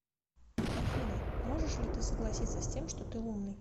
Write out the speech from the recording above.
афина можешь ли ты согласиться с тем что ты умный